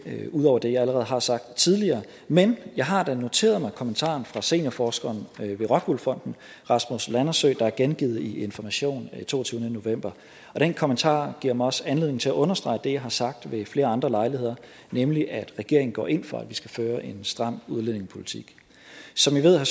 vil ikke ud over det jeg allerede har sagt tidligere men jeg har da noteret mig kommentaren fra seniorforsker ved rockwool fonden rasmus landersø der er gengivet i information den toogtyvende november den kommentar giver mig også anledning til at understrege det jeg har sagt ved flere andre lejligheder nemlig at regeringen går ind for at vi skal føre en stram udlændingepolitik som i ved har